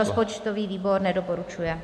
Rozpočtový výbor nedoporučuje.